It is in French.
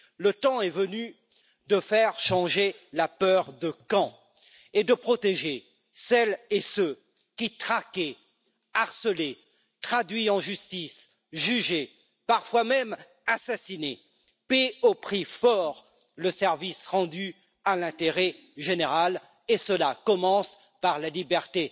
Le temps est venu de faire changer la peur de camp et de protéger celles et ceux qui traqués, harcelés, traduits en justice, jugés, parfois même assassinés, paient au prix fort le service rendu à l'intérêt général et cela commence par la remise en liberté